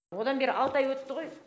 одан бері алты ай өтті ғой